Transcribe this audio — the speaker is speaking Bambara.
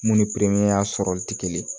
Mun ni ya sɔrɔli tɛ kelen ye